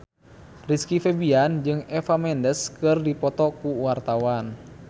Rizky Febian jeung Eva Mendes keur dipoto ku wartawan